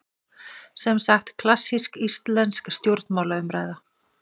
Semsagt klassísk íslensk stjórnmálaumræða.